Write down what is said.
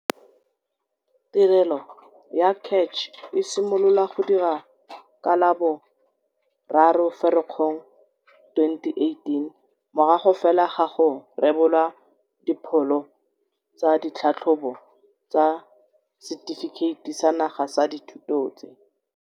Tirelo ya CACH e simolola go dira ka la bo 3 Firikgong 2018, morago fela ga go rebolwa dipholo tsa ditlhatlhobo tsa Setefikeiti sa Naga sa Dithuto tse.